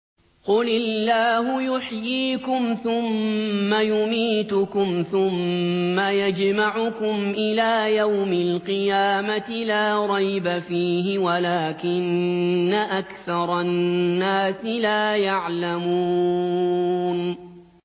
قُلِ اللَّهُ يُحْيِيكُمْ ثُمَّ يُمِيتُكُمْ ثُمَّ يَجْمَعُكُمْ إِلَىٰ يَوْمِ الْقِيَامَةِ لَا رَيْبَ فِيهِ وَلَٰكِنَّ أَكْثَرَ النَّاسِ لَا يَعْلَمُونَ